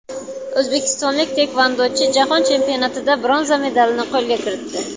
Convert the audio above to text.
O‘zbekistonlik taekvondochi Jahon chempionatida bronza medalini qo‘lga kiritdi.